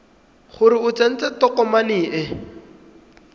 gore o tsentse tokomane e